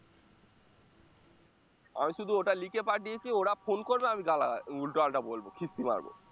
আমি শুধু ওটা লিখে পাঠিয়েছি ওরা phone করবে আমায় গালাগা~ উল্টোপাল্টা বলবো খিস্তি মারবো